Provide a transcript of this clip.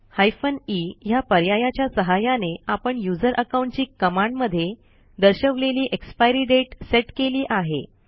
hyphen e ह्या पर्यायाच्या सहाय्याने आपण यूझर अकाउंटची कमांड मध्ये दर्शवलेली एक्सपायरी दाते सेट केली आहे